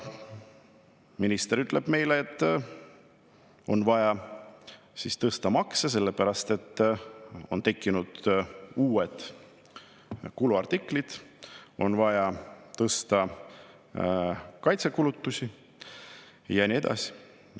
Minister ütleb meile, et makse on vaja tõsta sellepärast, et on tekkinud uued kuluartiklid, on vaja tõsta kaitsekulutusi ja nii edasi.